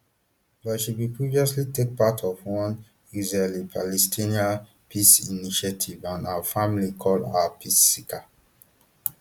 but she bin previously take part of one israelipalestinian peace initiative and her family call her peace seeker